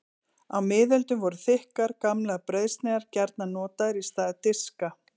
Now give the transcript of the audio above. Á miðöldum voru þykkar, gamlar brauðsneiðar gjarnan notaðar í stað diska.